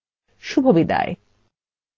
এই টিউটোরিয়ালএ অংশগ্রহন করার জন্য ধন্যবাদ শুভবিদায়